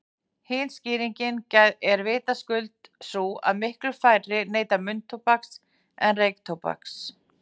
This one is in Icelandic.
Hin skýringin er vitaskuld sú að miklu færri neyta munntóbaks en reyktóbaks.